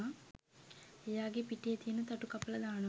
එයාගේ පිටේ තියෙන තටු කපලා දානවා